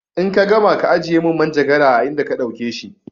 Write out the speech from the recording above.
In ka gama ka ajiye min manjagara a inda ka ɗauke shi!